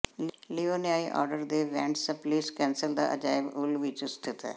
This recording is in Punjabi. ਲਿਵੋਨਿਆਈ ਆਰਡਰ ਦੇ ਵੈਂਟਸਪਿਲਸ ਕੈਸਲ ਦਾ ਅਜਾਇਬ ਉਲ ਵਿੱਚ ਸਥਿਤ ਹੈ